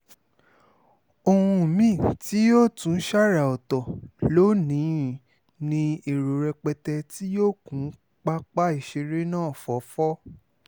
ohun mí-ín tí yóò tún sára-ọ̀tọ̀ lónì-ín ní ti èrò rẹpẹtẹ tí yóò kún pápá ìṣeré náà fọ́fọ́